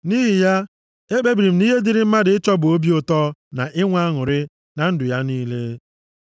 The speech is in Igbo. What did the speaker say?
Nʼihi ya, ekpebiri m na ihe dịịrị mmadụ ịchọ bụ obi ụtọ na inwe aṅụrị na ndụ ya niile.